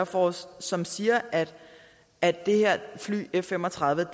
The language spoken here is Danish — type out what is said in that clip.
force som siger at det her fly f fem og tredive